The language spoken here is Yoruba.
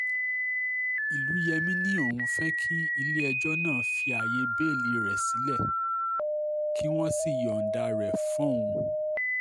ìlùyẹmi ni òun fẹ́ kí ilé-ẹjọ́ náà fi ààyè bẹ́ẹ́lí rẹ̀ sílẹ̀ kí wọ́n sì yọ̀ǹda rẹ̀ fún òun